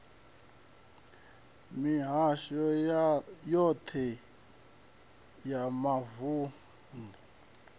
mihasho yoṱhe ya mavun ḓu